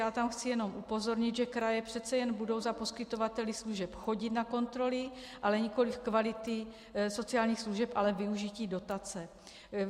Já tam chci jenom upozornit, že kraje přece jen budou za poskytovateli služeb chodit na kontroly, ale nikoliv kvality sociálních služeb, ale využití dotace.